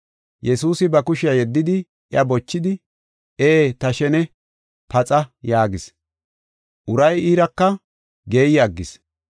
Yesuusi ba kushiya yeddidi iya bochidi, “Ee, ta shene, paxa” yaagis. Uray iiraka geeyi aggis.